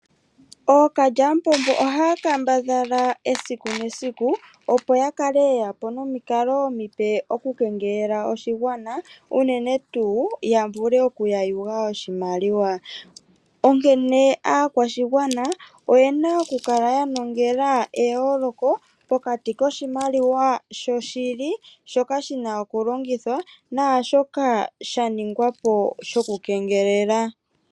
Ookalyamupombo ohaya kambadhala eaiku nesiku opo yakale yeyapo nomikalo omipe oku kengelela oshigwana unene tuu yavule oku ya yuga oshimaliwa, Onkene aakwashigwana oyena okukala ya nongela eyooloko pokati koshimaliwa shoshili shoka shina okulongithwa naashoka sha ningwapo shoku kengelelwa.